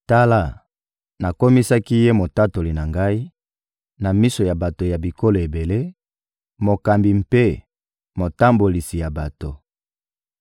Tala, nakomisaki ye motatoli na Ngai na miso ya bato ya bikolo ebele, mokambi mpe motambolisi ya bato.